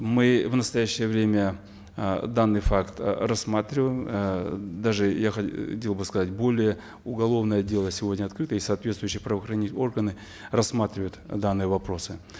мы в настоящее время э данный факт э рассматриваем э даже я хотел бы сказать более уголовное дело сегодня открыто и соответствующие правоохранительные органы рассматривают данные вопросы